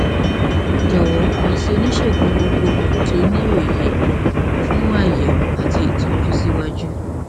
jọwọ kàn sí onísègùn gbogbogbò tí ó ní òye fún àyẹwò àti ìtọjú síwájú